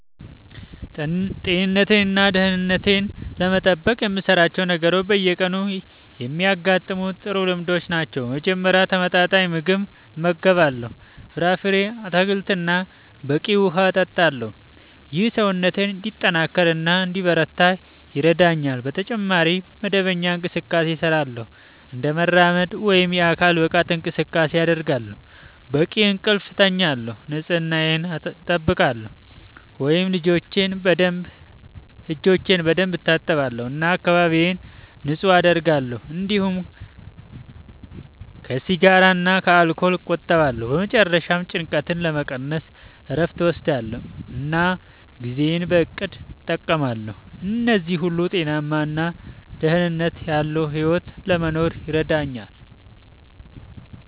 ጤንነቴን እና ደህንነቴን ለመጠበቅ የምሠራቸው ነገሮች በየቀኑ የሚደጋገሙ ጥሩ ልምዶች ናቸው። በመጀመሪያ ተመጣጣኝ ምግብ እመገባለሁ፣ ፍራፍሬ፣ አትክልት እና በቂ ውሃ እጠቀማለሁ። ይህ ሰውነቴን እንዲጠናከር እና እንዲበረታ ይረዳኛል። በተጨማሪ መደበኛ እንቅስቃሴ እሠራለሁ፣ እንደ መራመድ ወይም የአካል ብቃት እንቅስቃሴ አደርጋለሁ፣ በቂ እንቅልፍ እተኛለሁ፣ ንጽህናየን አጠብቃለሁ (እጆቼን በደንብ እታጠባለሁ እና አካባቢዬን ንጹህ አደርጋለሁ)፤እንዲሁም ከሲጋራ እና ከአልኮል እቆጠባለሁ። በመጨረሻ ጭንቀትን ለመቀነስ እረፍት እወስዳለሁ እና ጊዜዬን በእቅድ እጠቀማለሁ። እነዚህ ሁሉ ጤናማ እና ደህንነት ያለዉ ሕይወት ለመኖር ይረዳኛል።